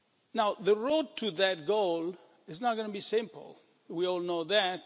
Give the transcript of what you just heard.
Now the road to that goal is not going to be simple, we all know that.